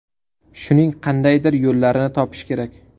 Shuning qandaydir yo‘llarini topish kerak.